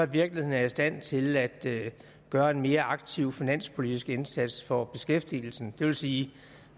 virkeligheden er i stand til at gøre en mere aktiv finanspolitisk indsats for beskæftigelsen det vil sige